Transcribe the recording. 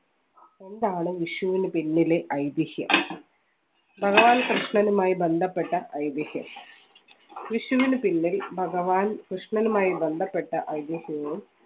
എന്താണ് വിഷുവിന് പിന്നിലെ ഐതിഹ്യം കൃഷ്ണനുമായി ബന്ധപ്പെട്ട ഐതിഹ്യം വിഷുവിന് പിന്നിൽ ഭഗവാൻ കൃഷ്ണനുമായി ബന്ധപ്പെട്ട ഐതിഹ്യവും